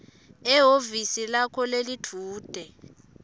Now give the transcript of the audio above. ehhovisi lakho lelidvute